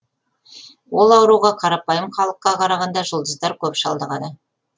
ол ауруға қарапайым халыққа қарағанда жұлдыздар көп шалдығады